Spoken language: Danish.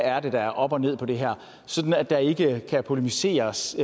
er der er op og ned på det her sådan at der ikke kan polemiseres